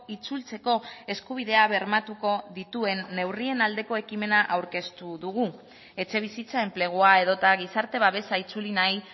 itzultzeko eskubidea bermatuko dituen neurrien aldeko ekimena aurkeztu dugu etxebizitza enplegua edota gizarte babesa itzuli nahi